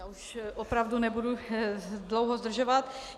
Já už opravdu nebudu dlouho zdržovat.